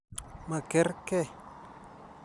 Ma kerkei.